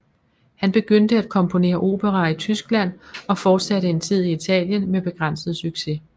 Han begyndte at komponere operaer i Tyskland og fortsatte en tid i Italien med begrænset succes